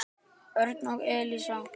Örn og Elísa.